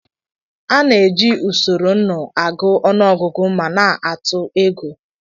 A na-eji usoro nnụ agụ ọnụọgụgụ ma na-atụ ego